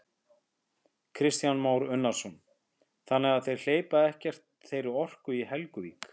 Kristján Már Unnarsson: Þannig að þeir hleypa ekkert þeirri orku í Helguvík?